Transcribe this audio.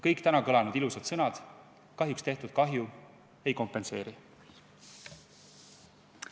Kõik täna kõlanud ilusad sõnad tehtud kahju ei kompenseeri.